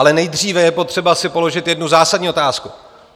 Ale nejdříve je potřeba si položit jednu zásadní otázku.